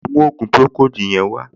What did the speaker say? Lọ mú ògùn pùròkóòdù yẹn wá!